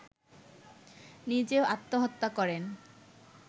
নিজেও আত্মহত্যা করেন